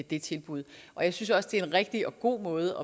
det tilbud jeg synes også det er en rigtig og god måde